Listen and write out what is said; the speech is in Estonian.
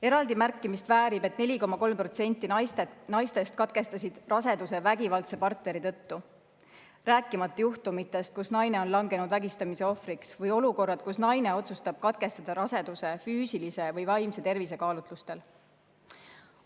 Eraldi märkimist väärib, et 4,3% naistest katkestasid raseduse vägivaldse partneri tõttu, rääkimata juhtumitest, kus naine on langenud vägistamise ohvriks, või olukorrad, kus naine otsustab raseduse katkestada füüsilise või vaimse tervise kaalutlustel.